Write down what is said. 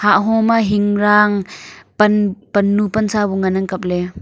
hahho ma hingrang pan pannu pansa bu ngan ang kapley.